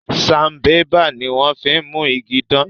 Sanbébà ní wón fín mú ìgi dan